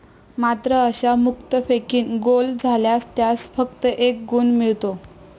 मात्र अशा मुक्तफेकीने गोल झाल्यास त्यास फक्त एक गुण मिळतो.